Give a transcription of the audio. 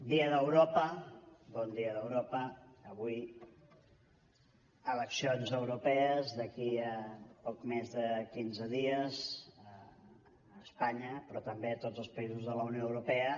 dia d’europa bon dia d’europa avui eleccions europees d’aquí a poc més de quinze dies a espanya però també a tots els països de la unió europea